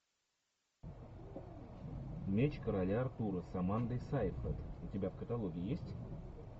меч короля артура с амандой сайфред у тебя в каталоге есть